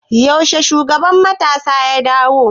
Yaushe shugaban matasa ya dawo?